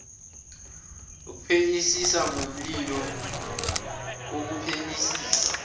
ukuphenyisisa ngomlilo ukuphenyisisa